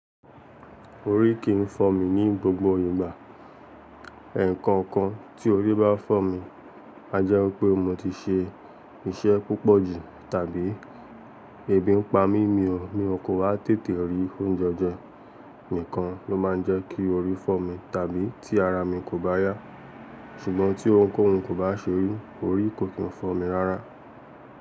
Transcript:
Orí kìí fọ́ mi ní gbogbo ìgbà. Ẹ̀ẹ̀ẹ̀kan kan tí orí bá fọ́ mi a jẹ́ pé mo ti ṣe iṣẹ́ púpọ̀ jù tàbí ebì ń pa mímì ọ mi. Ó kò ha tètè rí oúnjẹ ọjọ́ nìkan ló máa ń jẹ́ kí orí fọ́ mi tàbí tí ara mi kò bá yá. Ṣùgbọ́n tí ohunkóhun kò bá ṣe mi, orí kò kí ń fọ́ mi rárá.